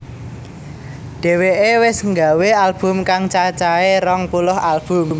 Dheweke wis nggawé album kang cacahé rong puluh album